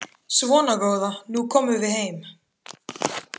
Svona góða, nú komum við heim.